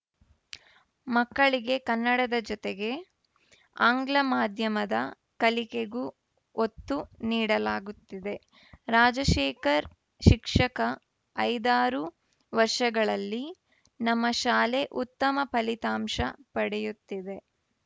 ಮಕ್ಕಳಿಗೆ ಕನ್ನಡದ ಜೊತೆಗೆ ಆಂಗ್ಲ ಮಾಧ್ಯಮದ ಕಲಿಕೆಗೂ ಒತ್ತು ನೀಡಲಾಗುತ್ತಿದೆ ರಾಜಶೇಖರ್‌ ಶಿಕ್ಷಕ ಐದಾರು ವರ್ಷಗಳಲ್ಲಿ ನಮ್ಮ ಶಾಲೆ ಉತ್ತಮ ಫಲಿತಾಂಶ ಪಡೆಯುತ್ತಿದೆ